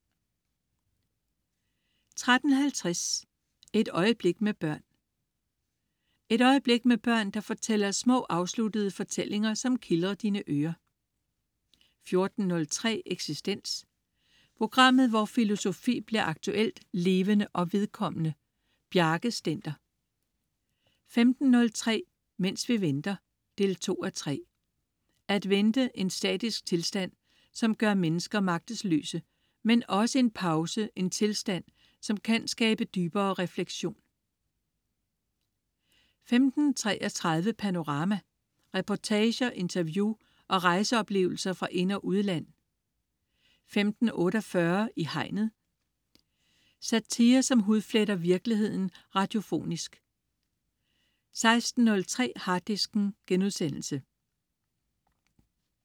13.50 Et øjeblik med børn. Et øjeblik med børn, der fortæller små afsluttede fortællinger, som kildrer dine ører 14.03 Eksistens. Programmet hvor filosofi bliver aktuelt, levende og vedkommende. Bjarke Stender 15.03 Mens vi venter 2:3. At vente: en statisk tilstand, som gør mennesker magtesløse. Men også en pause, en tilstand, der kan skabe dybere refleksion 15.33 Panorama. Reportager, interview og rejseoplevelser fra ind- og udland 15.48 I Hegnet. Satire, som hudfletter virkeligheden radiofonisk 16.03 Harddisken*